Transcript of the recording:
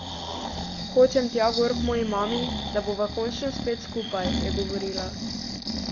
Hočem tja gor k moji mami, da bova končno spet skupaj, je govorila ...